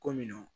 Ko minnu